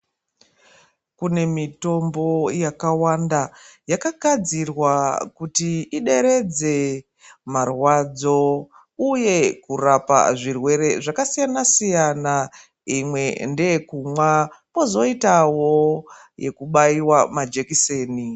Kine mitombo yakawanda yakagadzirwa kuti ideredze marwadzo uye kurapa zvirwere zvakasiyana siyana imwe ndeye kumwa kwozoitawo yekubaiwa majekiseni.